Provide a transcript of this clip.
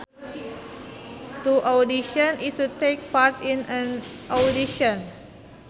To audition is to take part in an audition